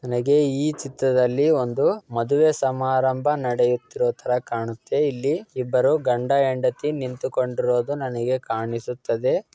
ನನಗೆ ಈ ಚಿತ್ರದಲ್ಲಿ ಒಂದು ಮಧುವೆ ಸಮಾರಂಭ ನಡೆಯುತ್ತಿರೋತರ ಕಾಣುತ್ತೆ. ಇಲ್ಲಿ ಇಬ್ಬರು ಗಂಡ-ಹೆಂಡತಿ ನಿಂತುಕೊಂಡಿರೋದು ನನಗೆ ಕಾಣಿಸುತ್ತದೆ.